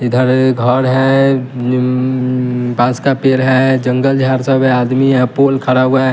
इधर ये घर है निम्म्म बास का पेड़ है जंगल झाड़ सब है आदमी यह पोल खड़ा हुआ है।